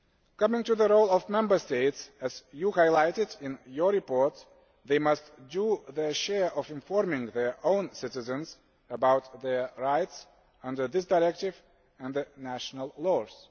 Coming to the role of the Member States as you highlighted in your report, they must do their share of informing their own citizens about their rights under this directive and the national laws.